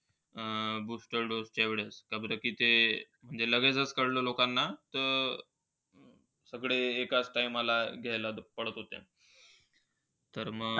Booster dose च्या वेळेस. हे लगेचच कळलं लोकांना तर, सगळे एकाच Time ला घ्यायला पळत होते. तर मग,